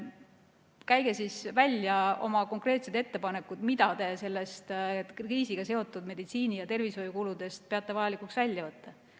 Käige siis välja oma konkreetsed ettepanekud, mida te nendest kriisiga seotud meditsiini- ja tervishoiukuludest peate vajalikuks välja võtta.